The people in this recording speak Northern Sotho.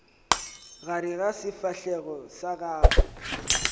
gare ga sefahlego sa gago